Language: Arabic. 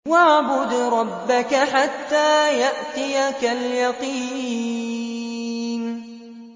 وَاعْبُدْ رَبَّكَ حَتَّىٰ يَأْتِيَكَ الْيَقِينُ